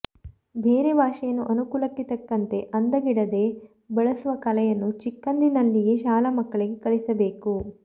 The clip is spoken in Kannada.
ಬೇರೆ ಭಾಷೆಯನ್ನು ಅನುಕೂಲಕ್ಕೆ ತಕ್ಕಂತೆ ಅಂದಗೆಡದೆ ಬಳಸುವ ಕಲೆಯನ್ನು ಚಿಕ್ಕಂದಿನಲ್ಲಿಯೇ ಶಾಲಾ ಮಕ್ಕಳಿಗೆ ಕಲಿಸಬೇಕು